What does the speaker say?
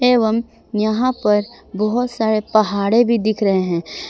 एवं यहां पर बहुत सारे पहाड़े भी दिख रहे हैं।